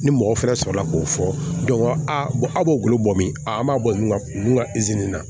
Ni mɔgɔ fɛnɛ sɔrɔla k'o fɔ a b'o golo bɔ min an b'a bɔ min ka kun ka nin na